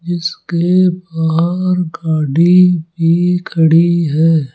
इसके बाहर गाड़ी भी खड़ी है।